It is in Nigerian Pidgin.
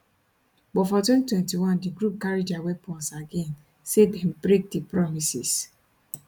but for 2021 di group carry dia weapons again say dem break di promises